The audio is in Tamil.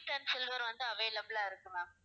white and silver வந்து available ஆ இருக்கு ma'am